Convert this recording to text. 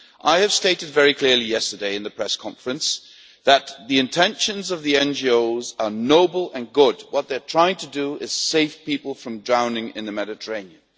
I have stated very clearly yesterday in the press conference that the intentions of the NGOs are noble and good. What they are trying to do is save people from drowning in the Mediterranean.